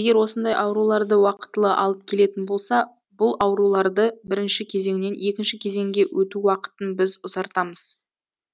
егер осындай ауруларды уақытылы алып келетін болса бұлауруларды бірінші кезеңнен екінші кезеңге өту уақытын біз ұзартамыз